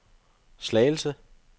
Slagelse